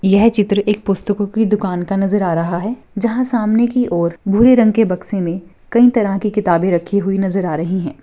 यह चित्र एक पुस्तकों की दुकान का नज़र आ रहा है जहां सामने की औरभूरे रंग के बक्से में कई तरह की किताबे रखी हुई नज़र आ रही है।